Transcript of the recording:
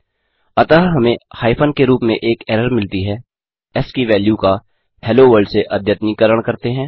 अतः हमें हाइफन के रूप में एक एरर मिलती है एस की वैल्यू का हेलो वर्ल्ड से अद्यतनीकरण करते हैं